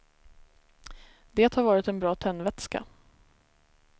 Det har varit en bra tändvätska.